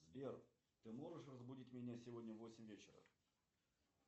сбер ты можешь разбудить меня сегодня в восемь вечера